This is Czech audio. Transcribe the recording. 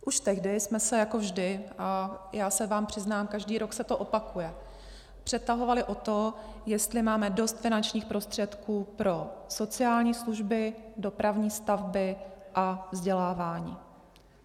Už tehdy jsme se jako vždy, a já se vám přiznám, každý rok se to opakuje, přetahovali o to, jestli máme dost finančních prostředků pro sociální služby, dopravní stavby a vzdělávání.